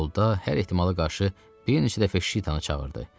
Yolda hər ehtimala qarşı bir neçə dəfə şitanı çağırdı.